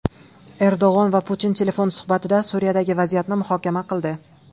Erdo‘g‘on va Putin telefon suhbatida Suriyadagi vaziyatni muhokama qildi.